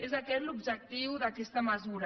és aquest l’objectiu d’aquesta mesura